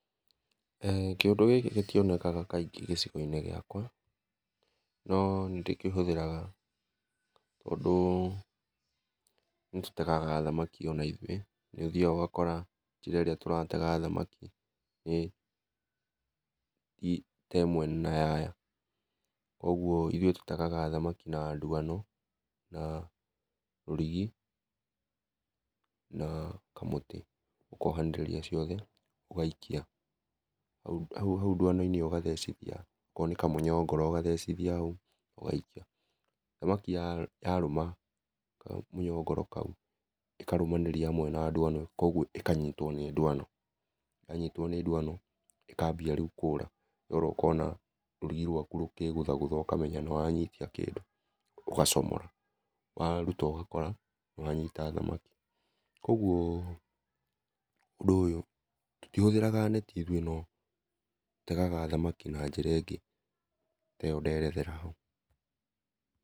Eeh kĩũndũ gĩkĩ gĩtĩonekaga kaingĩ gĩcigo-inĩ gĩakwa, no nĩndĩkĩhũthĩraga tondũ nĩtũtegaga thamakĩ ona ithũĩ nĩ ũthiaga ũgakora njĩra ĩrĩa tũratega thamaki nĩ ti temwe na ya aya, kogwo ĩthũĩ tũtegaga thamaki na ndwano na rũrigĩ na kamũtĩ, ũkaohanĩrĩria ciothe ũgaikia hau hau ndwano-inĩ ũgathecithia, okorwo nĩ kamũnyongoro ũgathecithia haũ ũgaikia. Thamaki yarũma kamũnyongoro kaũ ĩkarũmanĩria hamwe na ndwano kogwo ĩkanyitwo nĩ ndwano, yanyitwo nĩ ndwano, ĩ kambia rĩũ kũra, yora ũkona rũrigi rwakũ rũkĩgũthagũtha ũkamenya nĩwanyitia kĩndũ, ũgacomora, warũta ũgakora nĩwanyĩta thamaki, kogwo ũndũ ũyũ tũtĩhũthĩraga netĩ ũthũĩ, no tũtegaga thamaki na njĩra ĩngĩ te ĩyo nderethera hau.